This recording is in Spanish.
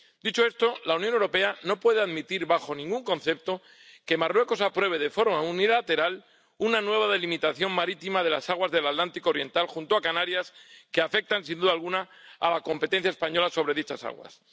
Dicho esto, la Unión Europea no puede admitir bajo ningún concepto que Marruecos apruebe de forma unilateral una nueva delimitación marítima de las aguas del Atlántico oriental junto a Canarias, que afecta sin duda alguna a la competencia española sobre dichas aguas.